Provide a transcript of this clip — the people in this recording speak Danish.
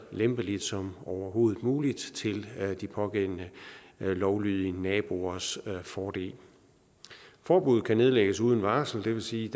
lempeligt som overhovedet muligt til de pågældende lovlydige naboers fordel forbuddet kan nedlægges uden varsel det vil sige